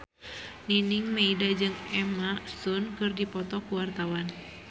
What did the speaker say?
Nining Meida jeung Emma Stone keur dipoto ku wartawan